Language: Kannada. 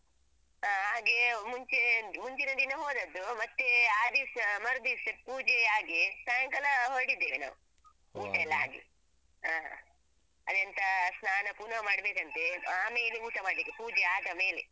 ಹ. ಹಾಗೆ ಮುಂಚೆ ಮುಂಚಿನ ದಿನ ಹೋದದ್ದು ಮತ್ತೇ ಆ ದಿವ್ಸ ಮರುದಿವ್ಸ ಪೂಜೆ ಆಗಿ ಸಾಯಂಕಾಲ ಹೊರಡಿದ್ದೇವೆ ನಾವು ಊಟ ಎಲ್ಲ ಆಗಿ. ಹ ಅದೆಂತ ಸ್ನಾನ ಪುನಃ ಮಾಡ್ಬೇಕಂತೆ ಆಮೇಲೆ ಊಟ ಮಾಡ್ಲಿಕ್ಕೆ ಪೂಜೆ ಆದ ಮೇಲೆ.